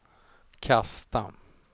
kasta